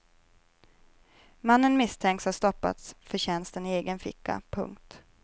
Mannen misstänks ha stoppat förtjänsten i egen ficka. punkt